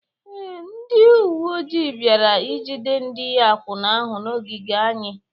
Ee, ndị uwe ojii bịara ijide ndị akwụna ahụ n’ogige anyị.